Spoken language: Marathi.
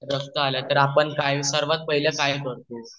रक्त आले तर आपण सर्वात पहिले काय करतो